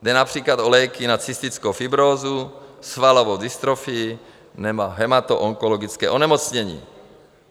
Jde například o léky na cystickou fibrózu, svalovou dystrofii nebo hematoonkologické onemocnění.